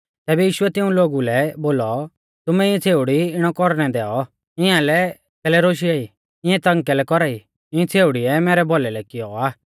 तैबै यीशुऐ तिऊं लोगु लै बोलौ तुमै इऐं छ़ेउड़ी इणौ कौरणै दैऔ इआंलै कैलै रोशिआई इंऐ तंग कैलै कौरा ई इंऐ छ़ेउड़िऐ मैरै भौलै लै कियौ आ